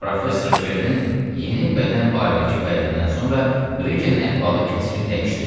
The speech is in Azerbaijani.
Professor Kernin yeni bədən barədəki vədindən sonra Brikenin əhvalı kəskin dəyişdi.